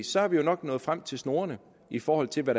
så er vi jo nok nået frem til snorene i forhold til hvad